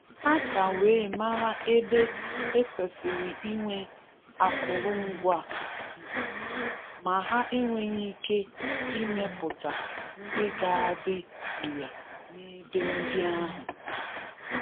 Ha ka wee mara ebe e kwesịrị inwe akụrụngwa Igbo, ma ha enweghị ike ịmepụta ndị ga-adị ire n'ebe ndị ahụ.